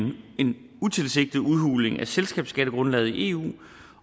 af selskabsskattegrundlaget i eu